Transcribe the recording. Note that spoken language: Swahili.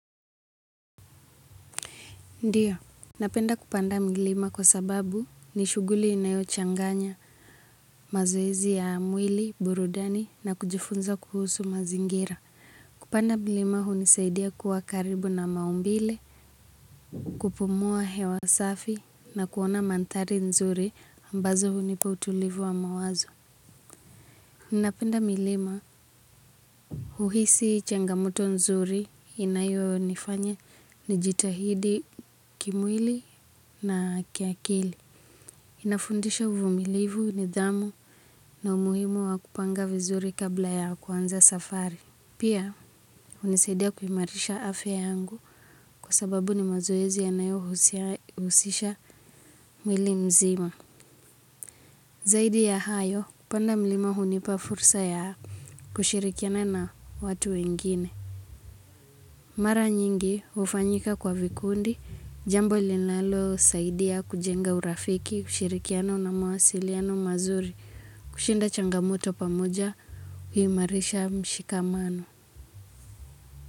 Ndiyo, napenda kupanda mlima kwa sababu ni shughuli inayochanganya mazoezi ya mwili, burudani na kujifunza kuhusu mazingira. Kupanda mlima hunisaidia kuwa karibu na maumbile, kupumua hewa safi na kuona mandhari nzuri ambazo hunipa utulivu wa mawazo. Napenda milima huhisi changamoto nzuri inayonifanya nijitahidi kimwili na kiakili. Inafundisha uvumilivu nidhamu na umuhimu wa kupanga vizuri kabla ya kuanza safari. Pia hunisaidia kuimarisha afya yangu kwa sababu ni mazoezi yanayohusisha mwili mzima. Zaidi ya hayo, kupanda mlima hunipa fursa ya kushirikiana na watu wengine. Mara nyingi hufanyika kwa vikundi, jambo linalosaidia kujenga urafiki, ushirikiano na mawasiliano mazuri, kushinda changamoto pamoja, huimarisha mshikamano.